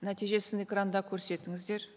нәтижесін экранда көрсетіңіздер